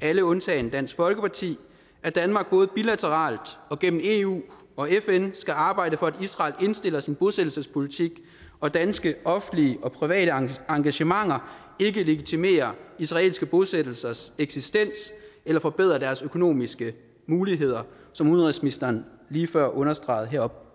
alle undtagen dansk folkeparti at danmark både bilateralt og gennem eu og fn skal arbejde for at israel indstiller sin bosættelsespolitik og at danske offentlige og private engagementer ikke legitimerer israelske bosættelsers eksistens eller forbedrer deres økonomiske muligheder som udenrigsministeren lige før understregede heroppe